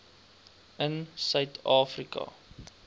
in suid afrika